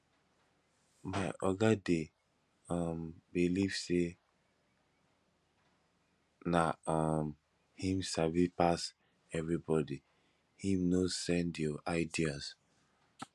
my oga dey um beliv sey na um him sabi pass everybodi him no send your ideas